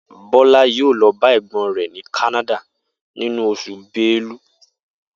Bó̩lá yóò lo̩ ba è̩gbó̩n rè̩ ní Kánádà nínú os̩ù Belu